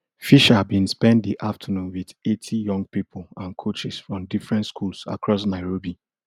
fisher bin spend di afternoon wit eighty young pipo and coaches from different schools across nairobi